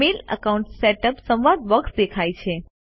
mail account setup સંવાદ box દેખાય છે